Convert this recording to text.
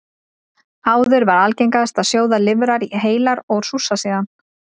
Áður var algengast að sjóða lifrar heilar og súrsa síðan.